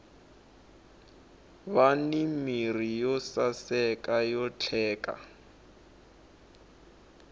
vani mirhi yo saseka yo vatleka